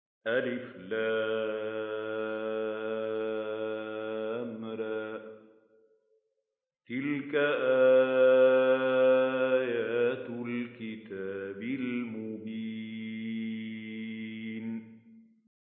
الر ۚ تِلْكَ آيَاتُ الْكِتَابِ الْمُبِينِ